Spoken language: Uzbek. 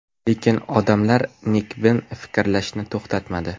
Lekin odamlar nekbin fikrlashni to‘xtatmadi.